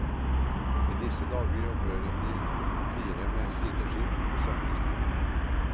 I disse dager jobber de fire med sideskip og sakristi.